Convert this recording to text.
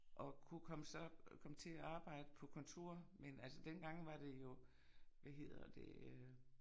Og kunne komme så komme til at arbejde på kontor men altså dengang var det jo hvad hedder det øh